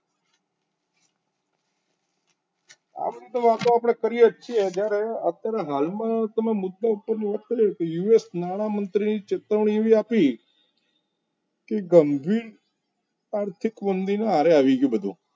આમ તો વાતો આપણે કરીએ જ છીએ જ્યારે હાલમાં આપણે મુદ્દા ઉપર વાત કરીએ તો US માં નાણામંત્રીએ ચેતવણી એવી આપી કે ગંભી આર્થિક ઊંડી ના હારે આવી ગયું બધું